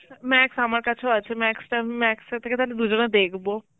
Max আমার কাছেও আছে, Max আম~ Max থেকে তালে দুজনা দেখব